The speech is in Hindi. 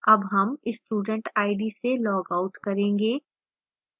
अब हम student id से log out करेंगे